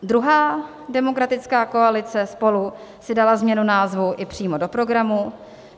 Druhá demokratická koalice SPOLU si dala změnu názvu i přímo do programu.